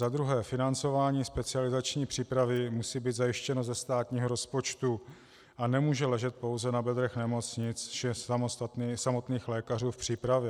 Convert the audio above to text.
Za druhé - financování specializační přípravy musí být zajištěno ze státního rozpočtu a nemůže ležet pouze na bedrech nemocnic či samotných lékařů v přípravě.